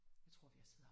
Jeg tror vi har siddet her